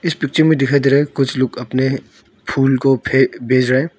इस पिक्चर में दिखाई दे रहा है कुछ लोग अपने फूल को फे बेज रहे है।